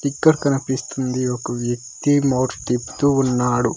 ఇక్కడ కనిపిస్తుంది ఒక వ్యక్తి నోట్స్ తిప్పుతూ ఉన్నాడు.